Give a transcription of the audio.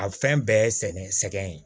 A fɛn bɛɛ ye sɛgɛn sɛ sɛgɛn ye